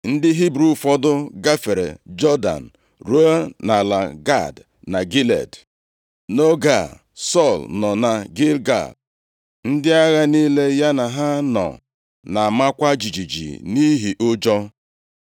Ndị Hibru ụfọdụ gafere Jọdan ruo nʼala Gad na Gilead. Nʼoge a, Sọl nọ na Gilgal, ndị agha niile ya na ha nọ na-amakwa jijiji nʼihi ụjọ.